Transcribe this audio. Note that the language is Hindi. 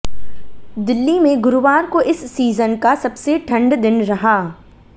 दिल्ली में गुरुवार को इस सीजन का सबसे ठंड दिन रहा